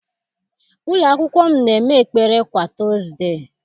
Ụlọakwụkwọ m na-eme ekpere kwa tọọzde.